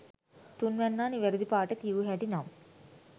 තුන්වැන්නා නිවැරදි පාට කියූ හැටි නම්